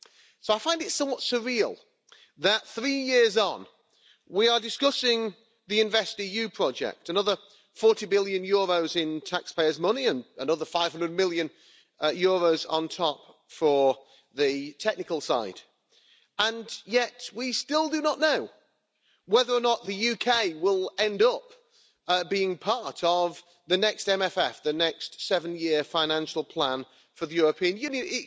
So I find it somewhat surreal that three years on we are discussing the InvestEU project, another EUR 40 billion in taxpayers' money and another EUR 500 million on top for the technical side, and yet we still do not know whether or not the UK will end up being part of the next MMF, the next seven year financial plan for the European Union.